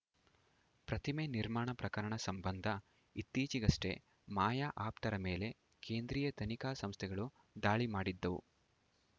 ಪ್ರತಿಮೆ ನಿರ್ಮಾಣ ಪ್ರಕರಣ ಸಂಬಂಧ ಇತ್ತೀಚೆಗಷ್ಟೇ ಮಾಯಾ ಆಪ್ತರ ಮೇಲೆ ಕೇಂದ್ರೀಯ ತನಿಖಾ ಸಂಸ್ಥೆಗಳು ದಾಳಿ ಮಾಡಿದ್ದವು